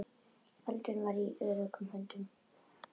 Baldvin var í öruggum höndum.